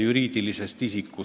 Ettekandja väitis, et ta ei küsinud.